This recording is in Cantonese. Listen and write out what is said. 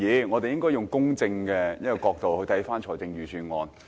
我們應該以公正的角度審視預算案。